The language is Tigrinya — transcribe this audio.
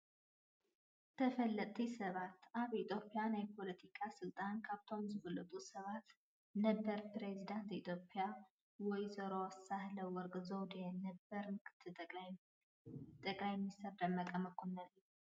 ተፈለጥቲ ሰባት፡- ኣብ ናይ ኢ/ያ ናይ ፖለቲካ ስልጣን ካብቶም ዝፍለጡ ሰባት ነበር ኘሬዚዳትን ኢ/ያ ወ/ሮ ሳህለወርቅ ዘውዴን ነበር ምክ/ጠ/ሚ ደመቀ መኮነንን እዮም፡፡